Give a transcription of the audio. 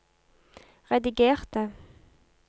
redigerte